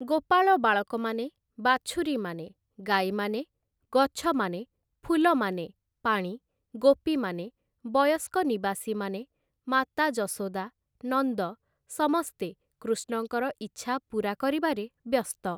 ଗୋପାଳ ବାଳକମାନେ, ବାଛୁରୀମାନେ, ଗାଈମାନେ, ଗଛମାନେ, ଫୁଲମାନେ, ପାଣି, ଗୋପୀମାନେ, ବୟସ୍କ ନିବାସୀମାନେ, ମାତା ଯଶୋଦା, ନନ୍ଦ, ସମସ୍ତେ କୃଷ୍ଣଙ୍କର ଇଚ୍ଛା ପୁରା କରିବାରେ ବ୍ୟସ୍ତ ।